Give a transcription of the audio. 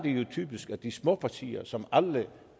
typisk at de små partier som alle